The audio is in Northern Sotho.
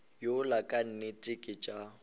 yola ka nnete ke tša